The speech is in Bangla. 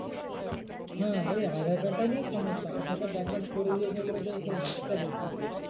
হ্যাঁ ওই aadhaar card টা নিয়েই সমস্যা। aadhaar card bank এ করে দিয়েছে বলে তো সব